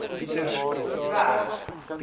w e g